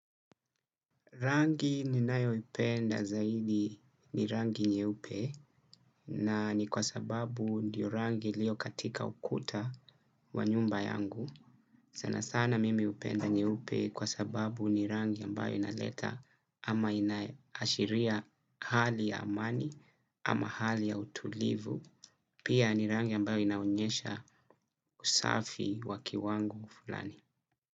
Rangi ninayo upenda zaidi ni rangi nyeupe nani kwa sababu ndiyo rangi ilio katika ukuta wa nyumba yangu. Sana sana mimi upenda nyeupe kwa sababu ni rangi ambayo inaleta ama inaashiria hali ya amani ama hali ya utulivu. Pia ni rangi ambayo inaonyesha usafi waki wangu fulani.